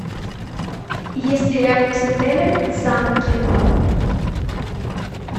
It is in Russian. есть ли рядом с отелем замки